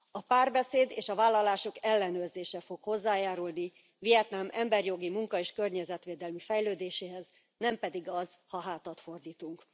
A párbeszéd és a vállalások ellenőrzése fog hozzájárulni Vietnám emberjogi, munka és környezetvédelmi fejlődéséhez, nem pedig az, ha hátat fordítunk.